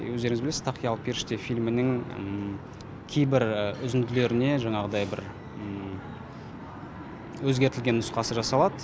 өздеріңіз білесіз тақиялы періште фильмінің кейбір үзінділеріне жаңағыдай бір өзгертілген нұсқасы жасалады